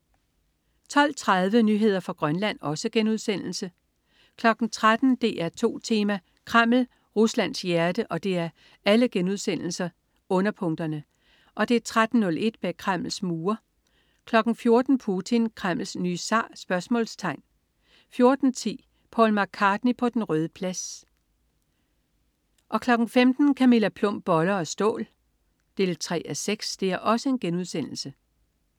12.30 Nyheder fra Grønland* 13.00 DR2 Tema: Kreml, Ruslands hjerte* 13.01 Bag Kremls mure* 14.00 Putin. Kremls nye zar?* 14.10 Paul McCartney på den Røde Plads* 15.00 Camilla Plum. Boller af stål 3:6*